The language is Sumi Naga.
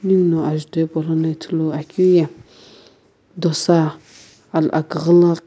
ninguno ajutho hipaulono ithuluakeu ye dosa al aküghü lo--